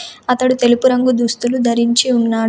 అతడు తెలుపు రంగు దుస్తులు ధరించి ఉన్నాడు.